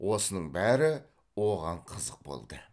осының бәрі оған қызық болды